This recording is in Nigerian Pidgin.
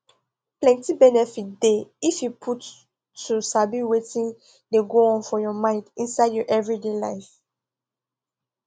plenty benefit dey if you put to sabi wetin dey go on for your mind inside your everyday life